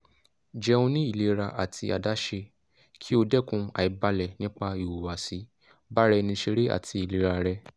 jeun ni ilera ati adaṣe ki o dẹkun aibalẹ nipa ihuwasi baraenisere ati ilera rẹ